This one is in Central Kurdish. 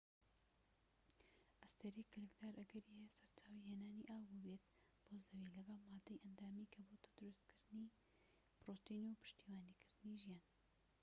ئەستێرەی کلکدار ئەگەری هەیە سەرچاوەی هێنانی ئاو بووبێت بۆ زەوی لەگەڵ مادەی ئەندامی کە بۆتە دروستکردنی پرۆتین و پشتیوانیکردنی ژیان